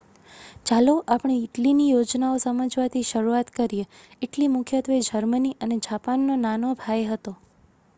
"ચાલો આપણે ઇટલીની યોજનાઓ સમજવાથી શરૂઆત કરીએ. ઇટલી મુખ્યત્વે જર્મની અને જાપાનનો "નાનો ભાઈ" હતો.